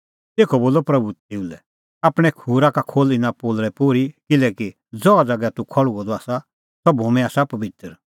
तेखअ बोलअ प्रभू तेऊ लै आपणैं खूरा का खोल्ह इना पोलल़ै पोर्ही किल्हैकि ज़हा ज़ैगा तूह खल़्हुअ द आसा सह भूमी आसा पबित्र